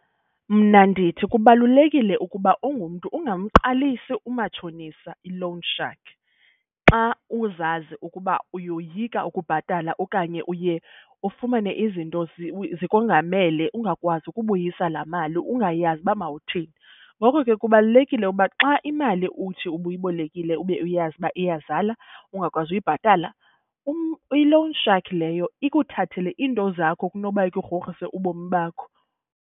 Mna ndithi kubalulekile ukuba ungumntu ungamqalisi umatshonisa, i-loan shark, xa uzazi ukuba uyoyika ukubhatala okanye uye ufumane izinto zikongamele ungakwazi ukubuyisa laa mali, ungayazi uba mawuthini. Ngoko ke kubalulekile uba xa imali uthi ubuyibolekile ube uyazi uba iyazala ungakwazi uyibhatala i-loan shark leyo ikuthathele iinto zakho kunoba ikugrogrise ubomi bakho.